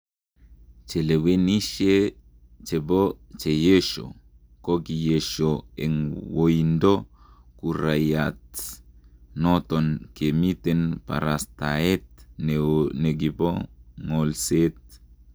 Chelewenishe chebo 'CHEYESHO'kokiyesho eng woindo kurait noton kimiten kaparastaet neo nekipo ngolset